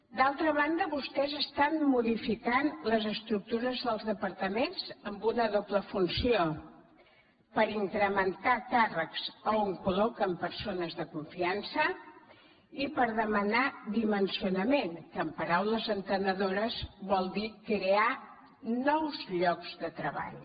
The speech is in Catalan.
d’altra banda vostès estan modificant les estructures dels departaments amb una doble funció per incrementar càrrecs on col·loquen persones de confiança i per demanar dimensionament que en paraules entenedores vol dir crear nous llocs de treball